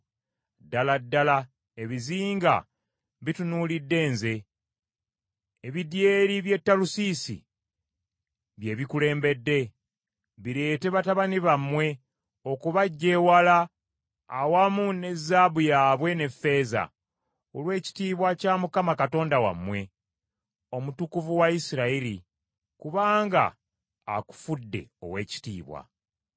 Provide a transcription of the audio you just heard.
Ddala ddala ebizinga bitunuulidde nze; ebidyeri by’e Talusiisi bye bikulembedde bireete batabani bammwe okubaggya ewala awamu ne zaabu yaabwe ne ffeeza, olw’ekitiibwa kya Mukama Katonda wammwe, Omutukuvu wa Isirayiri, kubanga akufudde ow’ekitiibwa.